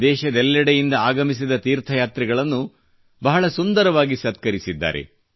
ಇಡೀ ದೇಶದಾದ್ಯಂತ ಆಗಮಿಸಿದ ತೀರ್ಥಯಾತ್ರಿಗಳನ್ನು ಬಹಳ ಸುಂದರವಾಗಿ ಸತ್ಕರಿಸಿದ್ದಾರೆ